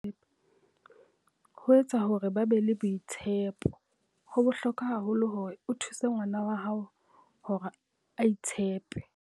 Ho etsa hore ba be le boitshepoHo bohlokwa haholo hore o thuse ngwana wa hao hore a itshepe.